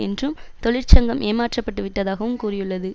என்றும் தொழிற்சங்கம் ஏமாற்றப்பட்டு விட்டதாகவும் கூறியுள்ளது